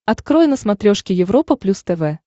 открой на смотрешке европа плюс тв